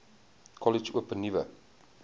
kollege open nuwe